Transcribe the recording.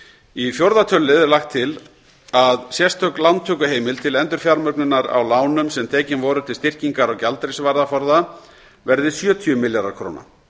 í fjórða tölulið er lagt til að sérstök lántökuheimild til endurfjármögnunar á lánum sem tekin voru til styrkingar á gjaldeyrisvaraforða verði sjötíu milljarðar króna